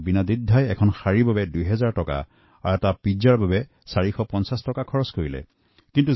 তাত দেখিলো তেওঁ এখন দুহাজাৰ টকীয়া শাড়ী কিনিলে পিজ্জাৰ বাবে ৪৫০ টকা অনায়াসে খৰচ কৰিলে